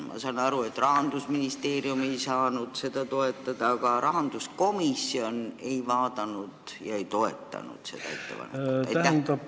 Ma saan aru, et Rahandusministeerium ei saanud seda toetada, aga miks rahanduskomisjon ei toetanud seda ettepanekut?